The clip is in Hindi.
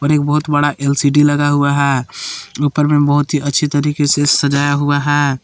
एक बहोत बड़ा एल_सी_डी लगा हुआ है ऊपर में बहोत ही अच्छी तरीके से सजाया हुआ है।